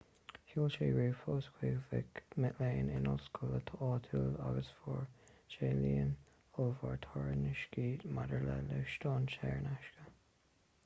sheol sé ríomhphoist chuig mic léinn in ollscoil áitiúil agus fuair sé líon ollmhór tairiscintí maidir le lóistín saor in aisce